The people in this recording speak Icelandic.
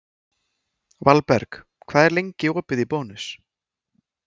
Valberg, hvað er lengi opið í Bónus?